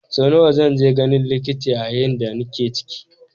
Sau nawa zan je ganin likita yayin da nake ciki?